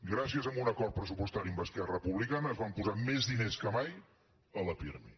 gràcies a un acord pressupostari amb esquerra republicana es van posar més diners que mai a la pirmi